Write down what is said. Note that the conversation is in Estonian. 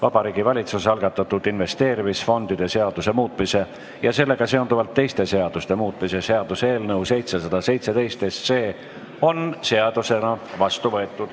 Vabariigi Valitsuse algatatud investeerimisfondide seaduse muutmise ja sellega seonduvalt teiste seaduste muutmise seaduse eelnõu 717 on seadusena vastu võetud.